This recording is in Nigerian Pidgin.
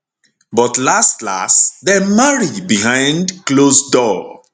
but laslas dem marry behind close door